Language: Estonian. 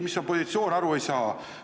Mis on positsioon, sellest aru ei saa.